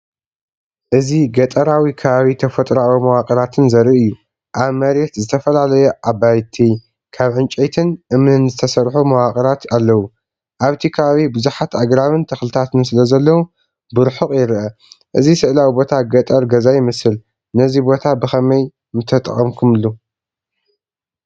እዚ ገጠራዊ ከባቢ ተፈጥሮኣዊ መዋቕራትን ዘርኢ እዩ። ኣብ መሬት ዝተፈላለዩ ኣባይቲ፣ ካብ ዕንጨይትን እምንን ዝተሰርሑ መዋቕራት ኣለዉ። ኣብቲ ከባቢ ብዙሓት ኣግራብን ተኽልታትን ስለዘለዉ ብርሑቕ ይርአ። እዚ ስእላዊ ቦታ ገጠር ገዛ ይመስል፤ ነዚ ቦታ ብኸመይ ምተጠቐምካሉ?